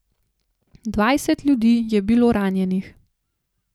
Dvajset ljudi je bilo ranjenih.